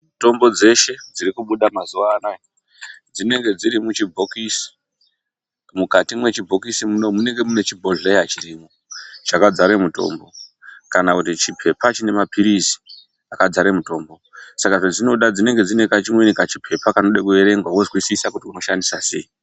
Mitombo dzeshe dzirikubuda mazuvanayi, dzinenge dzirimuchibhokisi. Mukati mwechibhokisi munoumu munenge munechibhodhlera chirimo chakadzare mitombo, kana kuti chiphepa chinemaphirizi saka zvezvinoda dzinenge dzinekamweni kachiphepa kanode kuerengwa wozwisisa kuti unoshandisa sei.